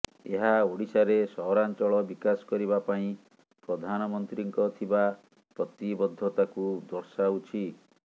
ଏହା ଓଡ଼ିଶାରେ ସହରାଞ୍ଚଳ ବିକାଶ କରିବା ପାଇଁ ପ୍ରଧାନମନ୍ତ୍ରୀଙ୍କ ଥିବା ପ୍ରତିବଦ୍ଧତାକୁ ଦର୍ଶାଉଛି